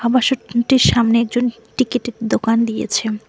আবাসন স্থান টির সামনে একজন টিকিট -এর দোকান দিয়েছে।